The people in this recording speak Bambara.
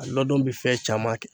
A ladon be fɛn caman kɛ.